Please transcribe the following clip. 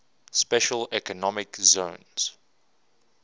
special economic zones